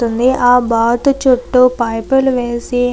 ఆ బాతు చుట్టూ పైపులు వేసి --